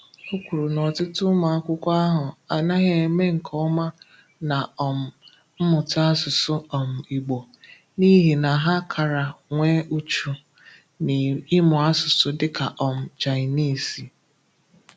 Ọ kwụrụ na ọ̀tụ̀tụ̀ ụmụ akwụkwọ ahụ anàghị eme nke ọma na um mmụta áṣụ̀sụ̀ um Ìgbò n’ihi na ha karà nwee ùchù n’ịmụ áṣụ̀sụ̀ dịka um Cháịnìzì.